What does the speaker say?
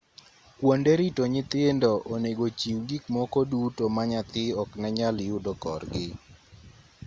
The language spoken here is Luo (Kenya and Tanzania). kuonde rito nyithindo onego chiw gikmoko duto ma nyathi oknenyal yudo korgi